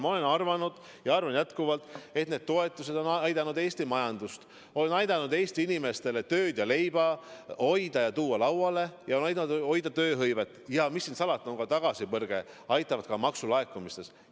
Ma olen arvanud ja arvan jätkuvalt, et need toetused on aidanud Eesti majandust, on aidanud Eesti inimestel tööd säilitada ja leiba laual hoida, on aidanud hoida tööhõivet ja mis siin salata, see aitab tagasipõrkena ka maksulaekumisi hoida.